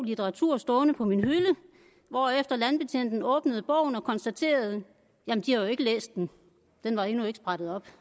litteratur stående på min hylde hvorefter landbetjenten åbnede bogen og konstaterede jamen de har jo ikke læst den den var endnu ikke sprættet op